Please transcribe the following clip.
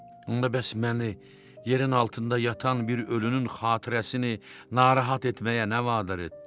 Onda bəs məni yerin altında yatan bir ölünün xatirəsini narahat etməyə nə vadar etdi?